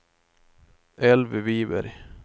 Elvy Viberg